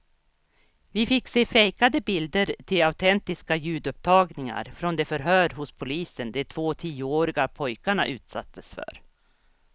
Vi fick se fejkade bilder till autentiska ljudupptagningar från de förhör hos polisen de två tioåriga pojkarna utsattes för.